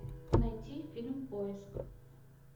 найти фильм поиск